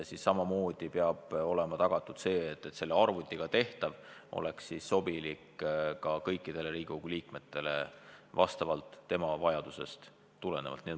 Samamoodi peab olema tagatud see, et arvutiga tehtav töö sobiks kõikidele Riigikogu liikmetele vastavalt nende vajadustele.